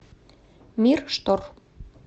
мир штор